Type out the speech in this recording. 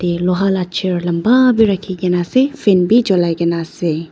Yete loha la chair lamba bi rakhikena ase fan bi cholai kaena ase.